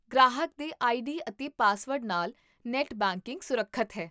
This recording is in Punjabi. ਤੁਸੀਂ ਮੇਰੇ ਤੋਂ ਕਿਸ ਕਿਸਮ ਦਾ ਇੰਪੁੱਟ ਜਾਂ ਭਾਗੀਦਾਰੀ ਚਾਹੁੰਦੇ ਹੋ?